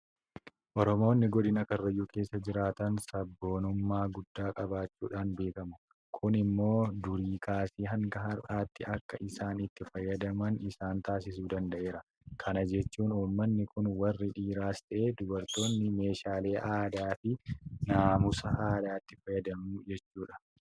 Oromoonni godina karrayyuu keessa jiraatan Sabboonummaa guddaa qabaachuudhaan beekamu. Kun immoo durii kaasee hanga har'aatti akka isaan itti fayyadaman isaan taasisuu danda'eera. Kana jechuun uummanni kun warri dhiiraas ta'e dubartoonni meeshaalee aadaafi naamusa aadaatti fayyadamu jechuudha.